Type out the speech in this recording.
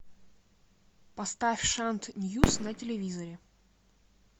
поставь шант ньюс на телевизоре